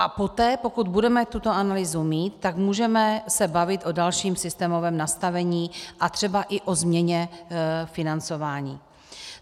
A poté, pokud budeme tuto analýzu mít, tak můžeme se bavit o dalším systémovém nastavení a třeba i o změně financování.